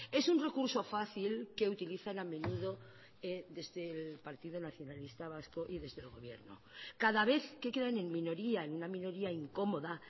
es un recurso fácil que utilizan a menudo desde el partido nacionalista vasco y desde el gobierno cada vez que quedan en minoría en una minoría incomoda